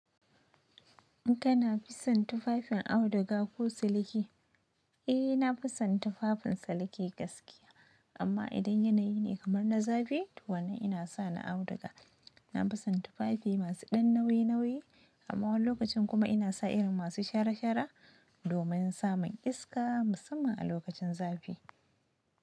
Kana fi son tufafin auduga ko siliki? Eh, na fi son tufafin siliki gaskiya. Amma idan yanayi ne kamar na zafi, to wannan yana sa ni auduga. Na fi son tufafi masu ɗan nauyi nauyi, amma wani lokacin kuma ina sa irin masu shara shara domin samun iska, musamman a lokacin zafi.